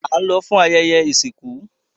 A n lọ fún ayẹyẹ isinku